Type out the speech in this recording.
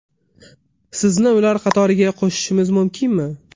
Sizni ular qatoriga qo‘shishimiz mumkinmi?